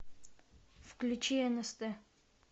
включи нст